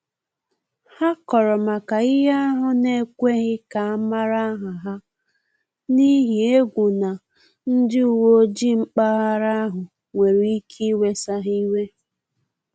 Ha kọrọ maka ihe ahụ n’ekweghi ka amala aha ha, n’ihi egwu na ndị uweojii mpaghara ahu nwere ike iwesa ha iwe